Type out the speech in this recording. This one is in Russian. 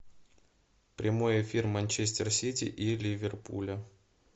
прямой эфир манчестер сити и ливерпуля